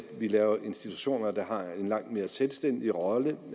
vi laver institutioner der har en langt mere selvstændig rolle